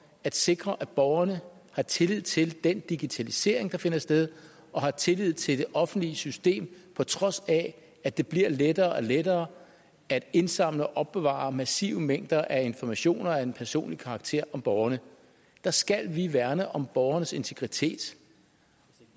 at sikre at borgerne har tillid til den digitalisering der finder sted og har tillid til det offentlige system på trods af at det bliver lettere og lettere at indsamle og opbevare massive mængder af informationer af en personlig karakter om borgerne der skal vi værne om borgernes integritet